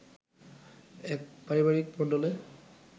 এক পারিবারিক মণ্ডলে